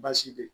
Baasi bɛ yen